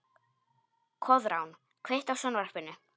Koðrán, kveiktu á sjónvarpinu.